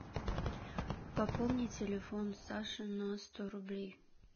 пополни телефон саши на сто рублей